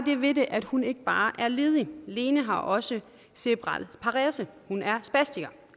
det ved det at hun ikke bare er ledig lene har også cerebral parese hun er spastiker